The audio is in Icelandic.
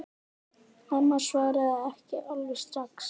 Amma svaraði ekki alveg strax.